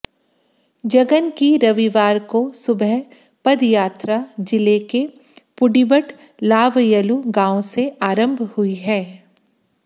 जगन की रविवार को सुबह पदयात्रा जिले के पूडिबटलाबयलू गांव से आरंभ हुई है